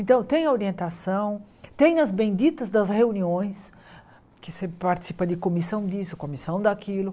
Então, tem a orientação, tem as benditas das reuniões, que você participa de comissão disso, comissão daquilo.